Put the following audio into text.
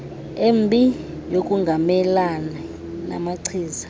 embi yokungamelani namachiza